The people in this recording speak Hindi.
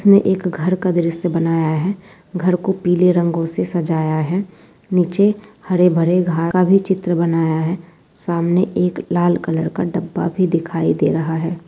उसने एक घर का दृश्य बनाया है घर को पीले रंगों से सजाया है। नीचे हरे भरे घा घा भी चित्र बनाया है सामने एक लाल कलर का डब्बा भी दिखाई दे रहा है।